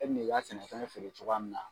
E bi n'i ka sɛnɛfɛn feere cogoya min na